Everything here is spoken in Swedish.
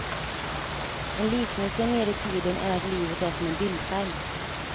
En liknelse mer i tiden är att livet är som en bildskärm.